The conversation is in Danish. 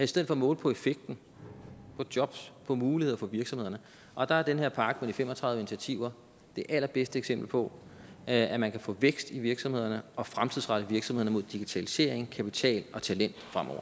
stedet for måle på effekten på jobs på muligheder for virksomhederne og der er den her pakke med de fem og tredive initiativer det allerbedste eksempel på at man kan få vækst i virksomhederne og fremtidsrette virksomhederne mod digitalisering kapital og talent